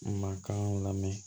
Mankan lamɛn